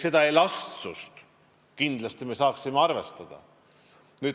Seda elastsust me saaksime kindlasti arvestada.